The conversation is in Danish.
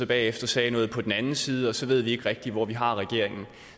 bagefter sagde noget på den anden side og så ved vi ikke rigtig hvor vi har regeringen